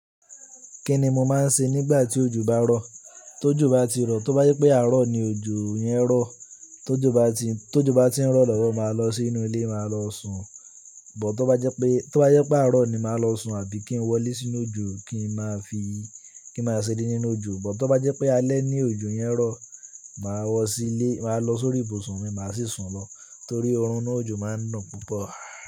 Kí ni mo máa ń ṣe nígbà tí òjò bá rọ̀? Tó ìjò bá ti rọ̀, tó bá jẹ pé àárọ̀ ni òjò yẹn rọ̀, tó ojò bá ti, tó ojò bá ti ń rọ̀ lọ́wọ́ máa lọ sínú ilé, máa lọ sùn. But tó bá jẹ pé, tó bá jẹ pé àárọ̀ ni, màá lọ sùn àbí kí n wọlé sínú òjò kí n máa fi, kí n máa ṣeré nínú òjò. But tó bá jẹ pé alẹ́ ni òjò yẹn rọ̀, màá wọ sílé, màá lọ sórí ibùsùn mi, màá sì sùn lọ. Nítorí oorun nínú òjò máa ń dùn púpọ̀.